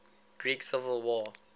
greek civil war